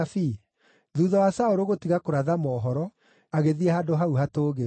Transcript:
Thuutha wa Saũlũ gũtiga kũratha mohoro, agĩthiĩ handũ hau hatũũgĩru.